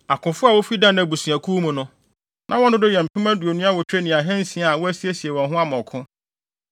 Akofo a wofi Dan abusuakuw mu no, na wɔn dodow yɛ mpem aduonu awotwe ne ahansia (28,600) a wɔasiesie wɔn ho ama ɔko.